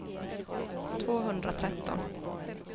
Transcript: tvåhundratretton